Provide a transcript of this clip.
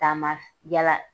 Taama s yala